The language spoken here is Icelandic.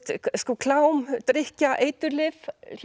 klám drykkja eiturlyf